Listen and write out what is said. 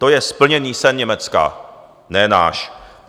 To je splněný sen Německa, ne náš.